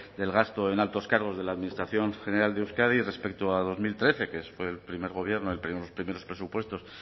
del gasto en altos cargos de la administración general de euskadi respecto a dos mil trece que fue el primer gobierno los primeros presupuestos